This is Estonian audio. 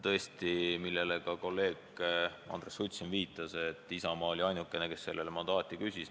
Tõesti, nagu ka kolleeg Andres Sutt siin viitas: Isamaa oli ainuke, kes sellele mandaati küsis.